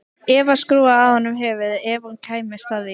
Eva skrúfaði af honum höfuðið ef hún kæmist að því.